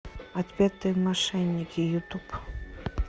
отпетые мошенники ютуб